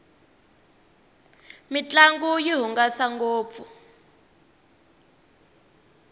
mintlangu yi hungasa ngopfu